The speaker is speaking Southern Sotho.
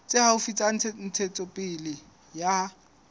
tse haufi tsa ntshetsopele ya